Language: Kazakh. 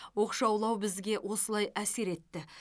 оқшаулау бізге осылай әсер етті